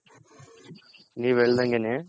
ನೀವ್ ಹೇಳ್ದಂಗೆನೆ.